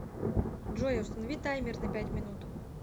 джой установи таймер на пять минут